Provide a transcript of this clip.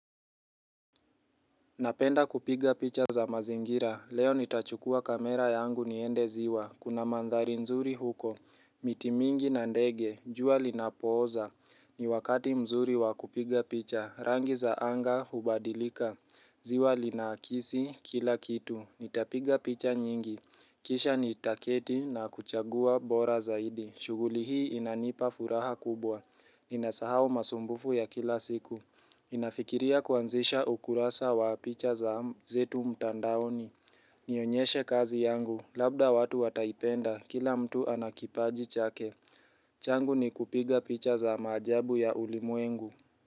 Napenda kupiga picha za mazingira, leo nitachukua kamera yangu niende ziwa, kuna mandhari nzuri huko, miti mingi na ndege, jua linapooza, ni wakati mzuri wa kupiga picha, rangi za anga hubadilika, ziwa linaakisi kila kitu, nitapiga picha nyingi, kisha nitaketi na kuchagua bora zaidi, shughuli hii inanipa furaha kubwa, inasahau masumbufu ya kila siku. Nafikiria kuanzisha ukurasa wa picha za zetu mtandaoni Nionyeshe kazi yangu, labda watu wataipenda, kila mtu ana kipaji chake changu ni kupiga picha za maajabu ya ulimwengu.